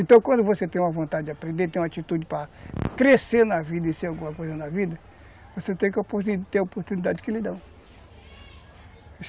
Então, quando você tem uma vontade de aprender, tem uma atitude para crescer na vida e ser alguma coisa na vida, você tem que ter a oportunidade que lhe dão.